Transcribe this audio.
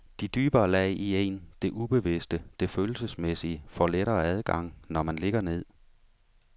De dybere lag i en, det ubevidste, det følelsesmæssige, får lettere adgang, når man ligger ned.